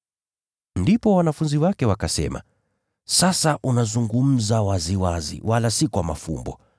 Ndipo wanafunzi wake wakasema, “Sasa unazungumza waziwazi, wala si kwa mafumbo.